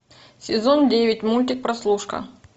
сезон девять мультик прослушка